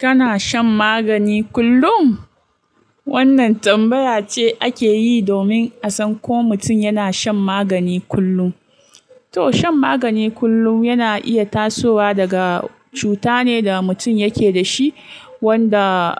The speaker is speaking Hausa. Kana shan magani kullum? Wannan tambaya ce ake yi domin a san ko mutum yana shan magani kullum. To shan magani kullum yana iya tasowa daga cuta ne da mutum yake da shi, wanda